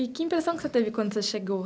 E que impressão que você teve quando você chegou?